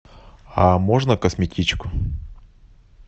а можно косметичку